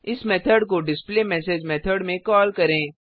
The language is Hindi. इस मेथड को डिस्प्लेमेसेज मेथड में कॉल करें